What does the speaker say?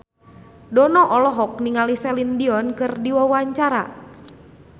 Dono olohok ningali Celine Dion keur diwawancara